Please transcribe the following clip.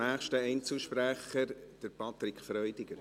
Ich habe zwei Punkte.